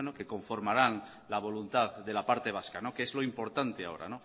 que conformarán la voluntad de la parte vasca que es lo importante ahora